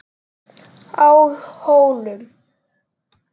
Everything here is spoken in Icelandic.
Á Hólum